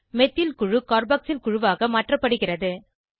methyl குழு carboxyl குழுவாக மாற்றப்படுகிறது